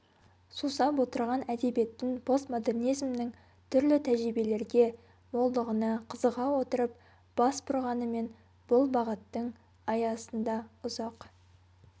сусап отырған әдебиеттің постмодернизмнің түрлі тәжірибелерге молдығына қызыға отырып бас бұрғанымен бұл бағыттың аясында ұзақ